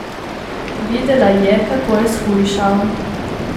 Videla je, kako je shujšal.